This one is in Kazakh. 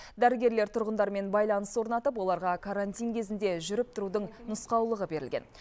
дәрігерлер тұрғындармен байланыс орнатып оларға карантин кезінде жүріп тұрудың нұсқаулығы берілген